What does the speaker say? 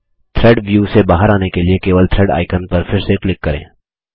thread view से बाहर आने के लिए केवल थ्रेड आइकन पर फिर से क्लिक करें